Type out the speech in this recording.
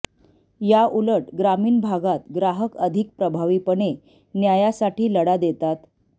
याउलट ग्रामीण भागात ग्राहक अधिक प्रभावीपणे न्यायासाठी लढा देतात